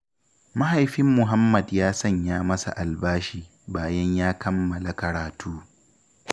Mahaifin Muhammad ya sanya masa albashi, bayan ya kammala karatu.